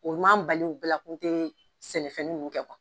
O m'an bali u bɛɛ bila k'u tɛ sɛnɛ fɛnin ninnu kɛ